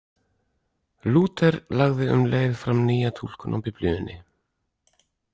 Lúther lagði um leið fram nýja túlkun á Biblíunni.